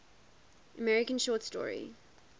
american short story